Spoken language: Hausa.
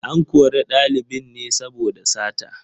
An kori ɗalibin ne saboda sata.